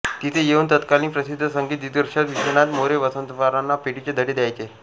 तिथे येऊन तत्कालीन प्रसिद्ध संगीत दिग्दर्शक विश्वनाथ मोरे वसंतरावांना पेटीचे धडे द्यायचे